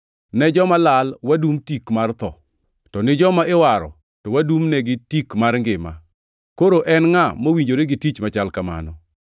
Ne joma lal wadum tik mar tho, to ni joma iwaro to wadumnegi tik mar ngima. Koro en ngʼa mowinjore gi tich machal kamano?